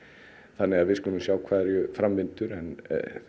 þannig við skulum sjá hversu fram vindur en